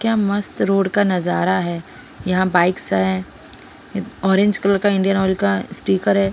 क्या मस्त रोड का नजारा है यहां बाइक्स है ऑरेंज कलर का इंडियन ऑयल का स्टीकर है।